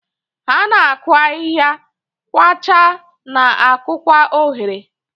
Ha na-akụ ahihia, kwachaa, na-akụkwa oghere.